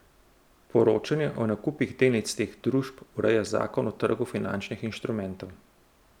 Poročanje o nakupih delnic teh družb ureja zakon o trgu finančnih inštrumentov.